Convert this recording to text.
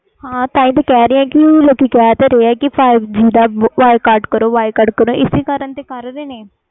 ਹੈ ਤਾਹਿ ਤੇ ਕਹਿ ਰਹੀ ਆ ਲੋਕੀ ਕਹਿੰਦੇ five G ਦਾ ਬਾਈਕਾਟ ਕਰੋ